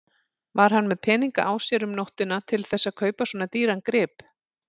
Var hann með peninga á sér um nóttina til þess að kaupa svona dýran grip?